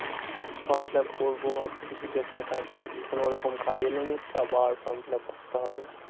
Form fill up করবো ভাবছি কিছু একটা কাজ। কোনোরকম কাজ মধ্যে আবার form fill up করতে হবে।